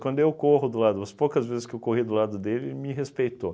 Quando eu corro do lado, as poucas vezes que eu corri do lado dele, ele me respeitou.